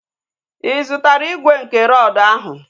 Ị zụtara igwe nke rọdu ahụ?